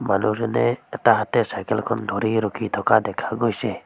মানুহজনে এটা হাতে চাইকেল খন ধৰি ৰখি থকা দেখা গৈছে।